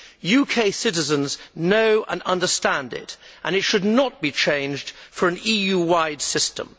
UK citizens know and understand it and it should not be changed for an EU wide system.